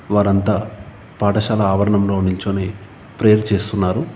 వారంతా పాఠశాల ఆవరణంలో నిల్చని ప్రేయర్ చేస్తున్నారు.